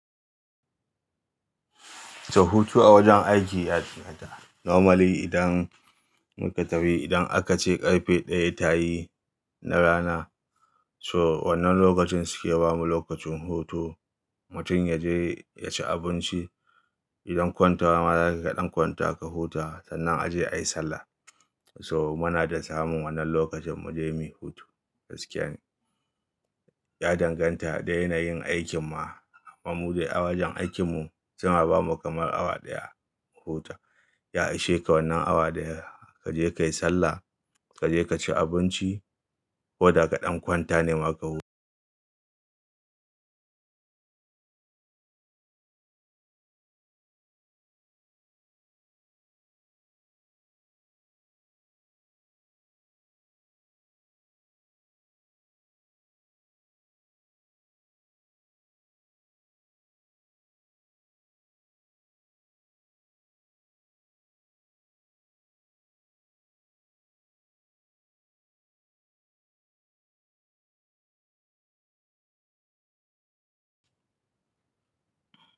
To hutu a wajen aiki ya danganta. Normally idan muka tafi, idan akace ƙarfe ɗaya tayi na rana, so wannan lokacin suke bamu lokacin hutu. Mutum yaje yaci abinci. Idan kwantawa zakai kaɗan kwanta ka huta sannan aje ayi sallah. So muna dai samun wannan lokacin mu je muyi hutu. Gaskiya ne, ya danganta da yanayin aikin ma. Mu awajen aikin mu suna bamu kamar awa ɗaya mu huta. Ya ishe ka wannan awa ɗaya, ka je ka yi sallah, ka je ka ci abinci ko da kaɗan kwanta ne ma ka huta.